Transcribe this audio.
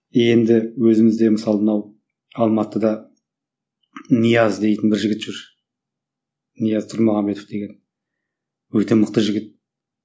енді өзімізде мысалы мынау алматыда нияз дейтін бір жігіт жүр нияз тұрмағанбетов деген өте мықты жігіт